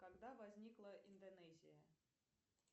когда возникла индонезия